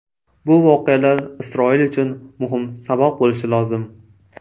Bu voqealar Isroil uchun muhim saboq bo‘lishi lozim.